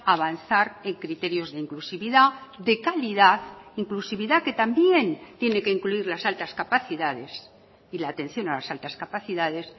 avanzar en criterios de inclusividad de calidad inclusividad que también tiene que incluir las altas capacidades y la atención a las altas capacidades